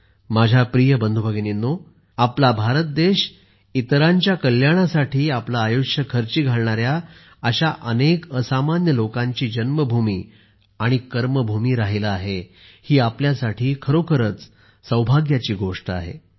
माझ्या प्रिय बंधू भगिनींनो आपला भारत देश इतरांच्या कल्याणासाठी आपले आयुष्य खर्ची घालणाऱ्या अशा अनेक असामान्य लोकांची जन्मभूमी आणि कर्मभूमी राहिला आहे ही आपल्यासाठी खरोखरच सौभाग्याची गोष्ट आहे